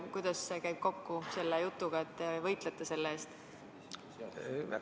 Kuidas see käib kokku selle jutuga, et te võitlete rahapesu vastu?